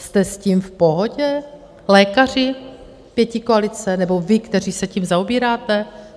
Jste s tím v pohodě, lékaři, pětikoalice nebo vy, kteří se tím zaobíráte?